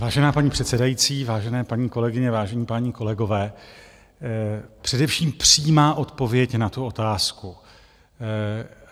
Vážená paní předsedající, vážené paní kolegyně, vážení páni kolegové, především přímá odpověď na tu otázku.